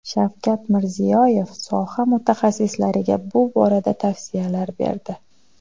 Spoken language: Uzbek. Shavkat Mirziyoyev soha mutaxassislariga bu borada tavsiyalar berdi.